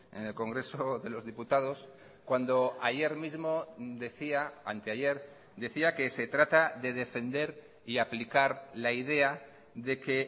en el congreso de los diputados cuando ayer mismo decía anteayer decía que se trata de defender y aplicar la idea de que